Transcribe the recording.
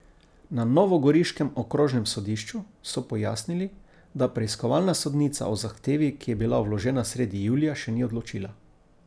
Na novogoriškem okrožnem sodišču so pojasnili, da preiskovalna sodnica o zahtevi, ki je bila vložena sredi julija, še ni odločila.